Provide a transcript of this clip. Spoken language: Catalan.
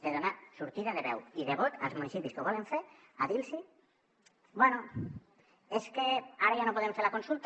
de donar sortida de veu i de vot als municipis que ho volen fer a dir los bé és que ara ja no podem fer la consulta